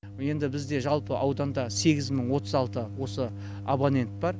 енді бізде жалпы ауданда сегіз мың отыз алты осы абонент бар